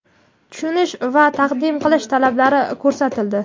tushunish va taqdim qilish talablari ko‘rsatildi.